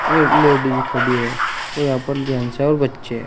एक लेडिस खड़ी है और यहां पर जेंस है और बच्चे है।